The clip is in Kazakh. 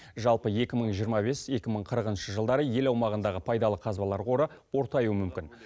жалпы екі мың жиырма бес екі мың қырығыншы жылдары ел аумағындағы пайдалы қазбалар қоры ортаюы мүмкін